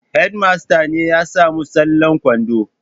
Hedimasta ne ya samu tsallen kwaɗo